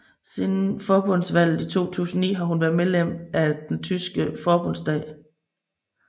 Siden forbundsvalget i 2009 har hun været medlem af den tyske forbundsdag